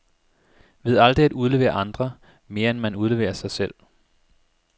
Ved aldrig at udlevere andre, mere end man udleverer sig selv.